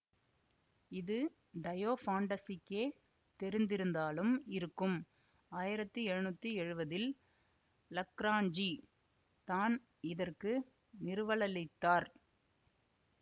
இது டயோஃபாண்டஸுக்கே தெரிந்திருந்தாலும் இருக்கும் ஆயிரத்தி எழநூத்தி எழுவதில் லக்ராண்ஜி தான் இதற்கு நிறுவலளித்தார்